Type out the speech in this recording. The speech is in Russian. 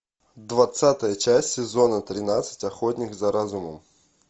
двадцатая часть сезона тринадцать охотник за разумом